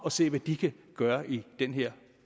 og se hvad de kan gøre i den her